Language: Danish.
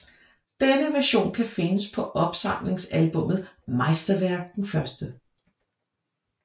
Denne version kan findes på opsamlingsalbummet Meisterwerk 1